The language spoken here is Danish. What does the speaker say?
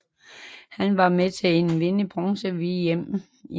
Han var med til at vinde bronze ved VM i 1982 i Spanien